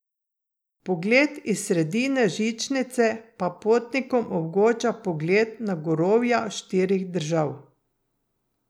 Pogled iz sredine žičnice pa potnikom omogoča pogled na gorovja štirih držav.